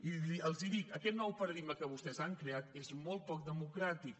i els hi dic aquest nou paradigma que vostès han creat és molt poc democràtic